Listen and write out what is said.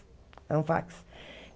É um fax.